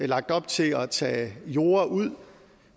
lagt op til at tage jorde ud